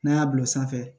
N'an y'a bila sanfɛ